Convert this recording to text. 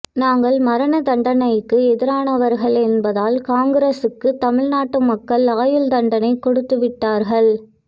நாங்கள் மரண தண்டனைக்கு எதிரானவர்கள் என்பதால் காங்கிரசுக்குத் தமிழ்நாட்டு மக்கள் ஆயுள் தண்டனை கொடுத்துவிட்டார்கள்